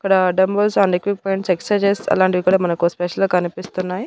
ఇక్కడ uh dumbbells and equipments exercises అలాంటివి కూడా మనకు స్పెషల్ గా కనిపిస్తున్నాయి.